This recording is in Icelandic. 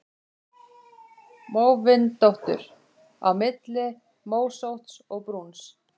Móvindóttur: Á milli mósótts og brúns.